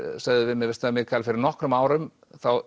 sögðu við mig veistu það Mikael fyrir nokkrum árum